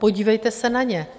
Podívejte se na ně.